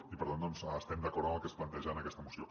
i per tant estem d’acord amb el que es planteja en aquesta moció